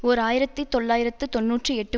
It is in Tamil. ஓர் ஆயிரத்தி தொள்ளாயிரத்து தொன்னூற்றி எட்டு